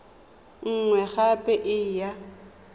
e nngwe gape e ya